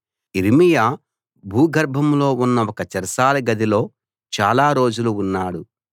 యిర్మీయా భూగర్భంలో ఉన్న ఒక చెరసాల గదిలో చాలా రోజులు ఉన్నాడు